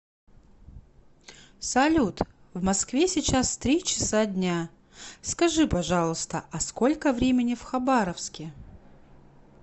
салют в москве сейчас три часа дня скажи пожалуйста а сколько времени в хабаровске